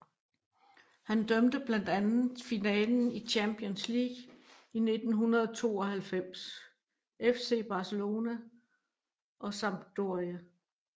Han dømte blandt andet finalen i Champions League i 1992 FC Barcelona og Sampdoria